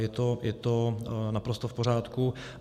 Je to naprosto v pořádku.